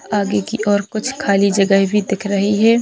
आगे की और कुछ खली जगह भी दिख रही है।